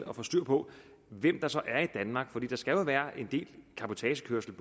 at få styr på hvem der så er i danmark for der skal jo være en del cabotagekørsel